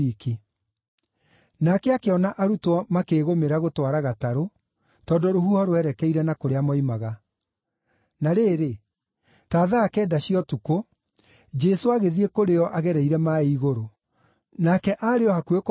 Nake akĩona arutwo makĩĩgũmĩra gũtwara gatarũ, tondũ rũhuho rwerekeire na kũrĩa moimaga. Na rĩrĩ, ta thaa kenda cia ũtukũ, Jesũ agĩthiĩ kũrĩ o agereire maaĩ igũrũ. Nake aarĩ o hakuhĩ kũmahĩtũka,